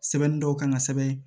Sɛbɛnni dɔw kan ka sɛbɛn